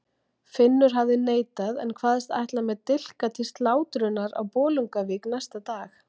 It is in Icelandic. Finnur hafði neitað en kvaðst ætla með dilka til slátrunar á Bolungarvík næsta dag.